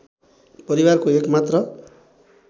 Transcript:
परिवारको एक मात्र